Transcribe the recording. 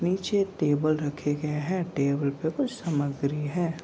नीचे टेबल रखे गए है टेबल पे कुछ समग्री है।